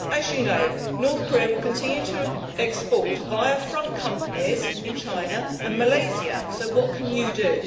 As you know, North Korea will continue to export via front companies in China and Malaysia, so what can you do?